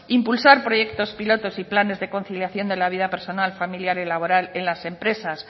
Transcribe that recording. impulsar proyecto pilotos y planes de conciliación de la vida personal familiar y laboral en las empresas